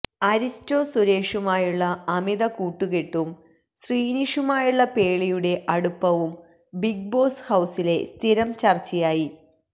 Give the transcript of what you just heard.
അരിസ്റ്റോ സുരേഷുമായുള്ള അമിത കൂട്ടുക്കെട്ടും ശ്രീനിഷുമായുള്ള പേളിയുടെ അടുപ്പവും ബിഗ് ബോസ് ഹൌസിലെ സ്ഥിരം ചര്ച്ചയായി